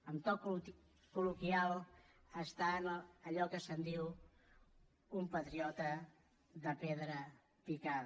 en to col·loquial és allò que se’n diu un patriota de pedra picada